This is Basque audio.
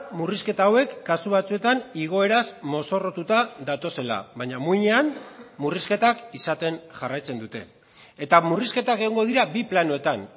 murrizketa hauek kasu batzuetan igoeraz mozorrotuta datozela baina muinean murrizketak izaten jarraitzen dute eta murrizketak egongo dira bi planoetan